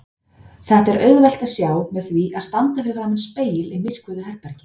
Þetta er auðvelt að sjá með því að standa fyrir framan spegil í myrkvuðu herbergi.